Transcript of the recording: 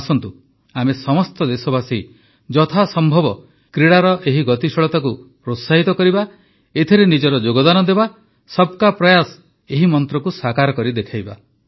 ଆସନ୍ତୁ ଆମେ ସମସ୍ତ ଦେଶବାସୀ ଯଥାସମ୍ଭବ କ୍ରୀଡ଼ାର ଏହି ଗତିଶୀଳତାକୁ ପ୍ରୋତ୍ସାହିତ କରିବା ଏଥିରେ ନିଜର ଯୋଗଦାନ ଦେବା ସବକା ପ୍ରୟାସ ଏହି ମନ୍ତ୍ରକୁ ସାକାର କରି ଦେଖାଇବା